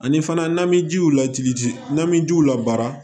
Ani fana n'an bɛ jiw lajigin n'an bɛ jiw la baara